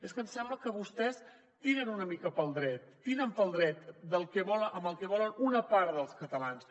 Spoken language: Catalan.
és que ens sembla que vostès tiren una mica pel dret tiren pel dret amb el que volen una part dels catalans